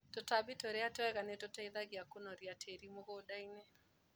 Tũtambi tũria twega nĩtũteithagia kũnoria tĩri mũgundainĩ.